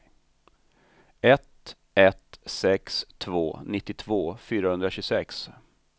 ett ett sex två nittiotvå fyrahundratjugosex